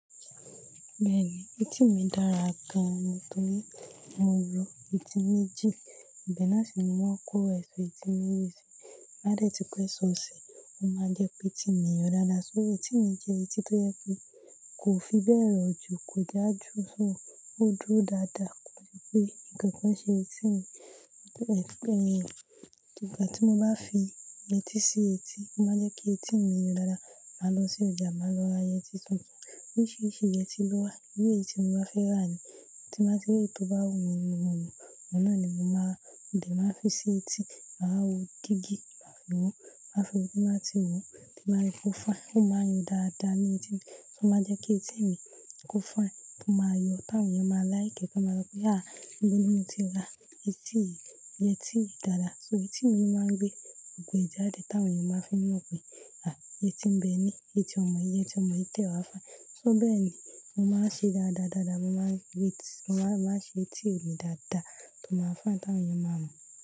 Bẹ́ẹ̀ni, etí mi dára gan-an torí mo ń ro etí méjì, ibẹ̀ na si ni mo máa ń kó èso etí méjì sí. Má dẹ́ ti pé sọ si, ó máa ń jẹ́ pé etí mi ń yọ dáadáa. So etí mi jẹ́ etí tó yẹ pé kò fi bẹ́ẹ̀ rọjú, kò já ju sùn, ó dúró dáadáa, kò ṣe pé nǹkan kan ṣe etí mi. Ẹ̀pẹ̀ ẹ́, ìgbà tí mo bá fi yẹtí sí etí, ó máa ń jẹ́ kí etí mi yọ dáadáa. Màá lọ sí ọjà, màá lọ ra yẹtí tuntun. Oríṣìíríṣìí yẹtí ló wà, bí èyí tí mo bá fẹ́ rà ni. Ti báa ti rí eyi tó bá wù mí, mo mọ̀ mọ̀ náà ni mo máa dé, màá fi sí etí, màá wo gígí, màá fi wò ó, màá fi òbí máa ti wò ó, ti màá le kó fún ẹ. Ó máa yọ dáadáa ní etí mi. Ó máa ń jẹ́ kí etí mi kó finẹ, ó máa yọ. Ti àwọn èèyàn máa like, ti wọn máa sọ pé, "àh! Níbo ni mo ti ra etí yìí? Yẹtí yìí dáadáa." So etí mi ló máa ń gbé gbogbo ee jáde, tàwọn èèyàn máa ń fi mọ̀ pé, "àh! Yẹtí ń bẹ́ ní, yẹtí ọmọ-yi, yẹtí ọmọ yi de wá fine." So bẹ́ẹ̀ ni mo máa ń ṣe dáadáa, dáadáa mo máa ń rí etí, mo máa ń ṣe etí mi dáadáa tó máa fine, tàwọn èèyàn máa mọ̀